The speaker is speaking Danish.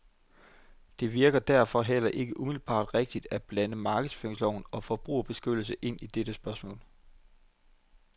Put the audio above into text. Det virker derfor heller ikke umiddelbart rimeligt at blande markedsføringsloven og forbrugerbeskyttelse ind i det spørgsmål.